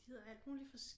De hedder alt muligt